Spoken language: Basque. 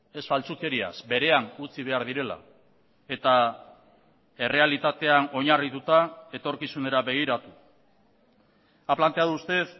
ez faltsukeriaz berean utzi behar direla eta errealitatean oinarrituta etorkizunera begiratu ha planteado usted